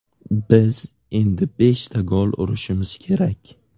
Biz endi beshta gol urishimiz kerak.